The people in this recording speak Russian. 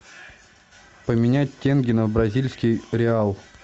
поменять тенге на бразильский реал